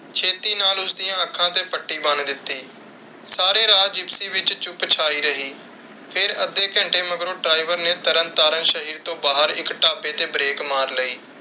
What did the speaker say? ਛੇਤੀ ਨਾਲ ਉਸਦੀਆਂ ਅੱਖਾਂ ਤੇ ਪੱਟੀ ਬੰਦ ਦਿਤੀ। ਸਾਰੇ ਰਾਹ ਜਿਪਸੀ ਵਿਚ ਚੁੱਪ ਛਾਈ ਰਹੀ। ਫਿਰ ਅੱਧੇ ਘੰਟੇ ਮਗਰੋਂ ਡ੍ਰਾਈਵਰ ਨੇ ਤਰਨ ਤਾਰਨ ਸ਼ਹਿਰ ਤੋਂ ਬਾਹਰ ਇੱਕ ਢਾਬੇ ਤੇ ਬ੍ਰੇਕ ਮਾਰ ਲਈ।